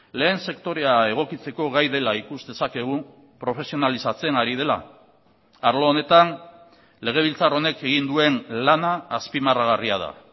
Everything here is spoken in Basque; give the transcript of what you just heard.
lehen sektorea egokitzeko gai dela ikus dezakegu profesionalizatzen ari dela arlo honetan legebiltzar honek egin duen lana azpimarragarria da